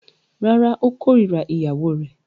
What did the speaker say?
Rárá, ó kórira ìyàwó rẹ̀.